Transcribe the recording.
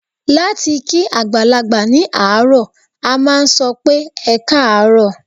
Láti kí àgbàlagbà ní àárọ̀, a máà sọ pé "ẹkáàárọ̀".